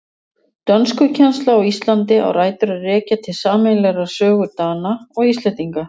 Dönskukennsla á Íslandi á rætur að rekja til sameiginlegrar sögu Dana og Íslendinga.